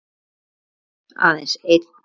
Einn, aðeins einn